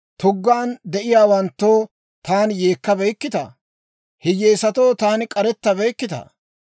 Tuggaan de'iyaawanttoo taani yeekkabeykkitaa? Hiyyeesatoo taani k'arettabeykkitaa?